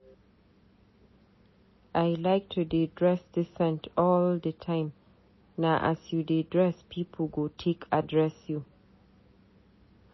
I like to dey dress decent all di time, na as you dress pipu go take address you.